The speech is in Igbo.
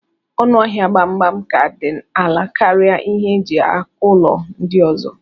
Ọnụ ahia gbagbam ka di ala karia ihe eji akụlọ ndi ọzọ.